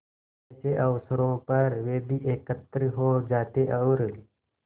ऐसे अवसरों पर वे भी एकत्र हो जाते और